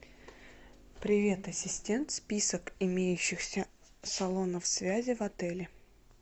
привет ассистент список имеющихся салонов связи в отеле